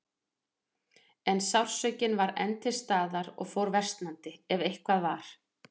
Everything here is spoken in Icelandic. En sársaukinn var enn til staðar og fór versnandi, ef eitthvað var.